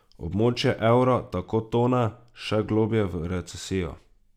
Območje evra tako tone še globlje v recesijo.